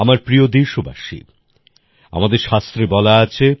আমার প্রিয় দেশবাসী আমাদের শাস্ত্রে বলা আছে